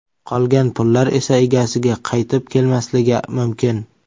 Qolgan pullar esa egasiga qaytib kelmasligi mumkin.